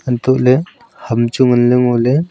antoh ley ham chu ngan le ngo ley.